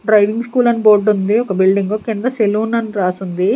Driving school అని బోర్డుంది ఒక బిల్డింగు కింద సెలూన్ అని రాసుంది.